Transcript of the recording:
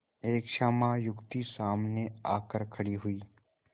एक श्यामा युवती सामने आकर खड़ी हुई